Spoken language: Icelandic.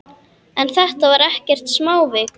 En þetta var ekkert smávik.